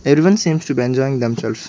everyone seems to be enjoying themselves.